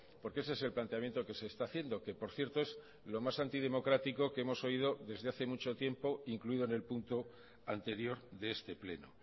porque ese es el planteamiento que se está haciendo que por cierto es lo más antidemocrático que hemos oído desde hace mucho tiempo incluido en el punto anterior de este pleno